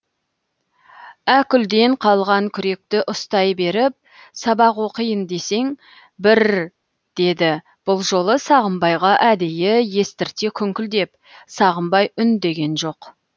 әкүлден қалған күректі ұстай беріп сабақ оқиын десең бір р деді бұл жолы сағымбайға әдейі естірте күңкілдеп сағымбай үндеген жоқ